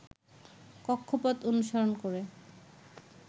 কক্ষপথ অনুসরণ করে